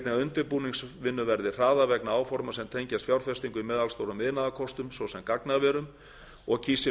undirbúningsvinnu verði hraðað vegna áforma sem tengjast fjárfestingu með allstórum iðnaðarkostum svo sem gagnaverum og